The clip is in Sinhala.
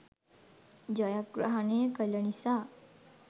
ජයග්‍රහණය කළ නිසා